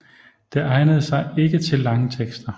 Det egnede sig ikke til lange tekster